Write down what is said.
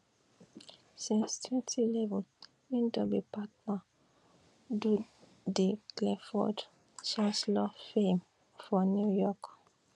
since 2011 e don be partner do di clifford chance law firm for new york